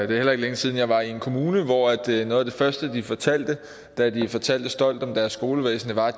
heller ikke længe siden jeg var i en kommune hvor noget af det første de fortalte da de fortalte stolt om deres skolevæsen var at